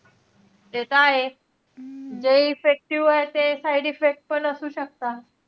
ते तर आहेचं. जे effective आहे, ते side effect पणअसू शकतात.